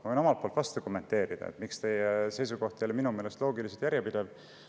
Ma võin omalt poolt kommenteerida, miks minu meelest teie seisukoht ei ole loogiliselt järjepidev.